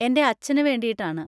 എൻ്റെ അച്ഛന് വേണ്ടിയിട്ടാണ്.